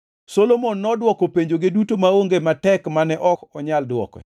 Solomon nodwoko penjoge duto maonge matek mane ok onyal dwoke.